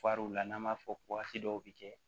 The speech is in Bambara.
n'an b'a fɔ waati dɔw bi kɛ